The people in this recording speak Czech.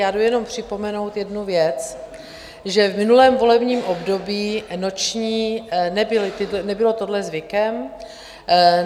Já jdu jenom připomenout jednu věc, že v minulém volebním období noční - nebylo tohle zvykem.